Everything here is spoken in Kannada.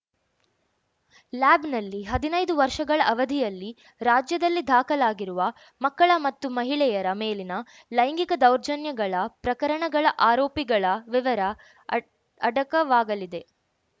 ಲ್ಯಾಬ್‌ನಲ್ಲಿ ಹದಿನೈದು ವರ್ಷಗಳ ಅವಧಿಯಲ್ಲಿ ರಾಜ್ಯದಲ್ಲಿ ದಾಖಲಾಗಿರುವ ಮಕ್ಕಳ ಮತ್ತು ಮಹಿಳೆಯರ ಮೇಲಿನ ಲೈಂಗಿಕ ದೌರ್ಜನ್ಯಗಳ ಪ್ರಕರಣಗಳ ಆರೋಪಿಗಳ ವಿವರ ಅಡ್ ಅಡಕವಾಗಲಿದೆ